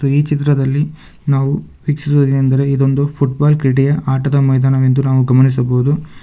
ಮತ್ತು ಈ ಚಿತ್ರದಲ್ಲಿ ನಾವು ವೀಕ್ಷಿಸುವುದೇನೆಂದರೆ ಇದೊಂದು ಫುಟ್ಬಾಲ್ ಕ್ರೀಡೆಯ ಆಟದ ಮೈದಾನವೆಂದು ನಾವು ಗಮನಿಸಬಹುದು.